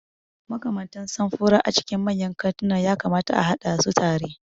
Makamantan samfura a cikin manyan kantuna ya kamata a haɗa su tare.